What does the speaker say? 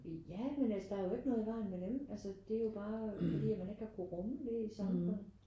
Ja men altså der er jo ikke noget i vejen med dem altså det er jo bare fordi at man ikke har kunne rumme det i et samfund